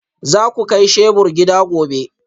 Za ku kai shebur gida gobe?